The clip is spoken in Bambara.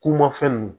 K'u ma fɛn nunnu